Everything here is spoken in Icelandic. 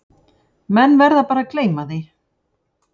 Menn verða bara að gleyma því